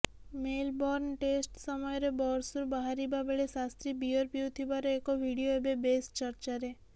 Melbourne test ସମୟରେ ବସ୍ରୁ ବାହାରିବାବେଳେ ଶାସ୍ତ୍ରୀ ବିୟର ପିଉଥିବାର ଏକ ଭିଡିଓ ଏବେ ବେଶ୍ ଚର୍ଚ୍ଚାରେ